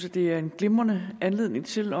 at det er en glimrende anledning til